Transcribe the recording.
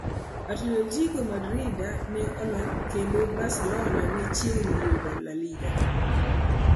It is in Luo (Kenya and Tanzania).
Atletico Madrid ne oloo, kendo Barcelona ne chiegni yudo La Liga